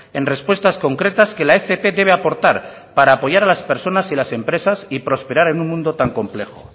en respuestas concretas que la fp debe aportar para apoyar a las personas y las empresas y prosperar en un mundo tan complejo